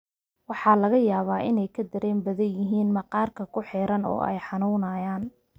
Waxa laga yaabaa inay ka dareen badan yihiin maqaarka ku xeeran oo ay xanuunayaan.